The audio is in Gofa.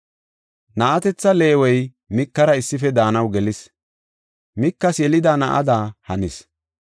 Na7atetha Leewey Mikara issife daanaw gelis; Mikas yelida na7ada hanis.